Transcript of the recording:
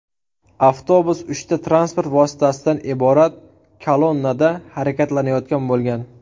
Avtobus uchta transport vositasidan iborat kolonnada harakatlanayotgan bo‘lgan.